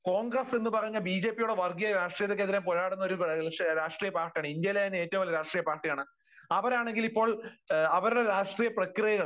കോൺഗ്രസ് എന്ന് പറയുന്നത് ബിജെപിയുടെ വർഗീയ രാഷ്ട്രീയ പാർട്ടിക്കെതിരെ പോരാടുന്ന ഒരു രാഷ്ട്രീയ പാർട്ടിയാണ്. ഇന്ത്യയിലെ തന്നെ ഏറ്റവും വലിയ രാഷ്ട്രീയ പാർട്ടിയാണ്. അവരാണെങ്കിൽ ഇപ്പോൾ അവരുടെ രാഷ്ട്രീയ പ്രക്രിയകൾ